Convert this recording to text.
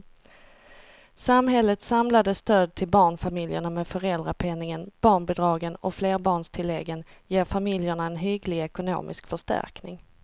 Samhällets samlade stöd till barnfamiljerna med föräldrapenningen, barnbidragen och flerbarnstilläggen ger familjerna en hygglig ekonomisk förstärkning.